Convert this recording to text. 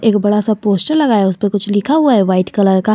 एक बड़ा सा पोस्टर लगाया उसे पे कुछ लिखा हुआ है वाइट कलर का।